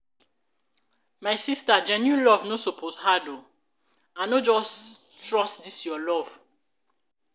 my sista genuine love no suppose hard o. i no just trust dis your love.